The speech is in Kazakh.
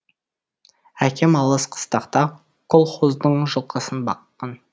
әкем алыс қыстақта колхоздың жылқысын баққан